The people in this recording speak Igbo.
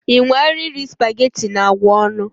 Ị nwara iri spaghetti na agwa ọnụ?